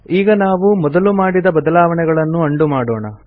ಈಗ ನಾವು ಮೊದಲು ಮಾಡಿದ ಬದಲಾವಣೆಗಳನ್ನು ಉಂಡೋ ಮಾಡೋಣ